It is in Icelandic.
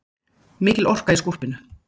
Mikil orka í skólpinu